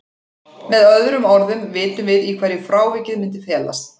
Með öðrum orðum vitum við í hverju frávikið myndi felast.